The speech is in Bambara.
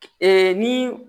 ni